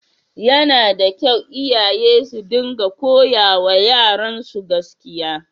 Yana da kyau iyaye su dinga koyawa yaransu gaskiya.